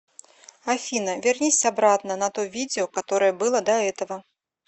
афина вернись обратно на то видео которое было до этого